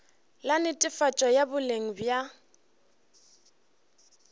la netefatšo ya boleng bja